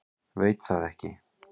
Veit það ekki.